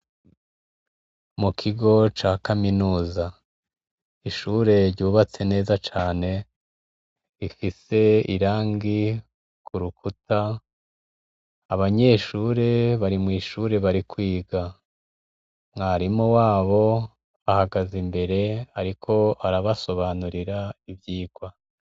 Mu kigo ca kaminuza, ishure ryubatse neza cane rifise irangi ku rukuta, abanyeshure bari kwiga, mwarimu wabo ahagaze imbere ariko arabasobanurira ivyigwa.